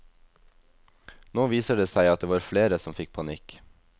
Nå viser det seg at det var flere som fikk panikk.